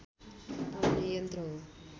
पढ्ने यन्त्र हो